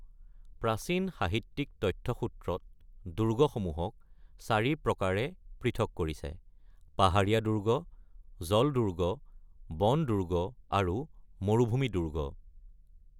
প্ৰাচীন সাহিত্যিক তথ্যসূত্ৰত দুৰ্গসমূহক চাৰি প্ৰকাৰে পৃথক কৰিছে : পাহাৰীয়া দুৰ্গ, জল দুৰ্গ, বন দুৰ্গ, আৰু মৰুভূমি দুৰ্গ।